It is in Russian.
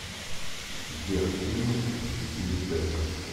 сбер фильмы с билли берк